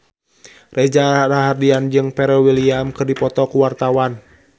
Reza Rahardian jeung Pharrell Williams keur dipoto ku wartawan